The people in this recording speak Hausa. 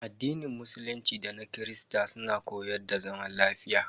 Addinin musulunci da na Kirista suna koyar da zaman lafiya.